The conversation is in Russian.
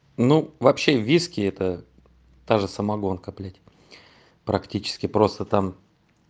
ну вообще виски это та же самогонка блять практически просто там